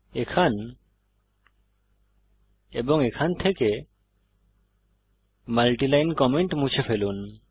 এখান এবং এখান থেকে মাল্টি লাইন কমেন্ট মুছে ফেলুন